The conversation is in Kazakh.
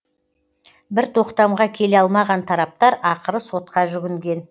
бір тоқтамға келе алмаған тараптар ақыры сотқа жүгінген